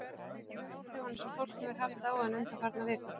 Ég veit af áhrifunum sem fólk hefur haft á hann undanfarnar vikur.